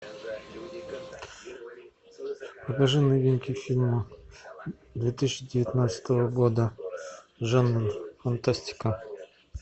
покажи новинки фильмов две тысячи девятнадцатого года жанр фантастика